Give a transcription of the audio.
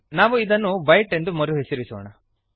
ನಾವು ಇದನ್ನು ವೈಟ್ ಎಂದು ಮರುಹೆಸರಿಸೋಣ